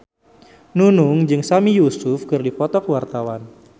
Nunung jeung Sami Yusuf keur dipoto ku wartawan